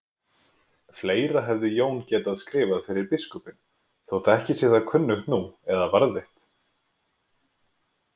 Fleira hefði Jón getað skrifað fyrir biskupinn, þótt ekki sé það kunnugt nú eða varðveitt.